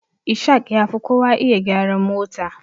Ishaq yafi kowa iya gyaran mota.